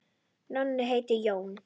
Nonni heitir Jón.